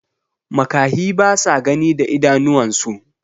makahi basa Gani da idanuwan su